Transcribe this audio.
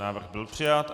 Návrh byl přijat.